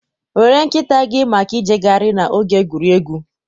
Were nkịta gị maka ijegharị na oge egwuregwu.